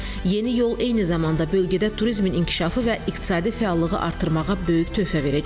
Yeni yol eyni zamanda bölgədə turizmin inkişafı və iqtisadi fəallığı artırmağa böyük töhfə verəcək.